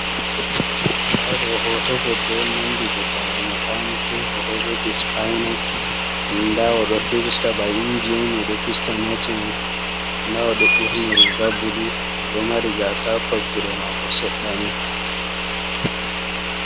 Nda ɗo hoto goɗɗo nandi goɗɗo mai makaniki, o ɗo jogi spaina nda o ɗo firsta ba inji on fista notiman nda o ɗo ɓorni riga bulu o ɗo mari gasa ha vakkude mako seddani.